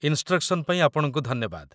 instructions ପାଇଁ ଆପଣଙ୍କୁ ଧନ୍ୟବାଦ